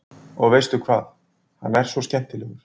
Og veistu hvað, hann er svo skemmtilegur.